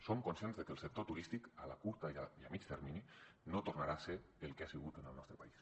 som conscients que el sector turístic a curt i a mitjà termini no tornarà a ser el que ha sigut en el nostre país